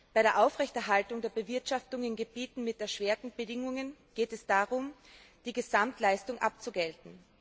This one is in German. Bei der Aufrechterhaltung der Bewirtschaftung in Gebieten mit erschwerten Bedingungen geht es darum, die Gesamtleistung abzugelten.